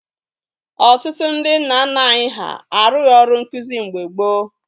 Ọtụtụ ndị nna nna anyị ha arụghi ọrụ nkụzi mgbe gboo